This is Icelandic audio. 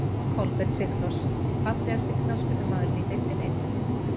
Kolbeinn sigþórs Fallegasti knattspyrnumaðurinn í deildinni?